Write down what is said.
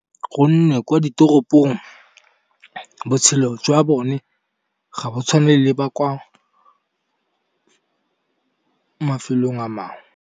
Gonne kwa ditoropong botshelo jwa bone ga bo tshwane le ba kwa mafelong a mangwe.